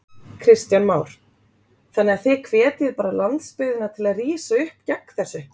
Kristján Már: Þannig að þið hvetjið bara landsbyggðina til að rísa upp gegn þessu?